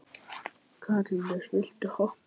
Katarínus, viltu hoppa með mér?